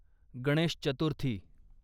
Ganesh Chaturthi